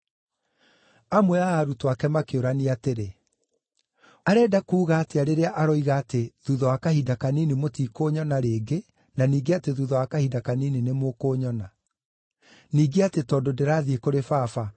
Amwe a arutwo ake makĩũrania atĩrĩ, “Arenda kuuga atĩa rĩrĩa aroiga atĩ, ‘Thuutha wa kahinda kanini mũtikũnyona rĩngĩ na ningĩ atĩ thuutha wa kahinda kanini nĩmũkũnyona’, ningĩ atĩ ‘Tondũ ndĩrathiĩ kũrĩ Baba?’ ”